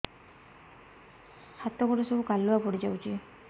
ହାତ ଗୋଡ ସବୁ କାଲୁଆ ପଡି ଯାଉଛି